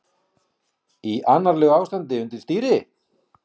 Í annarlegu ástandi undir stýri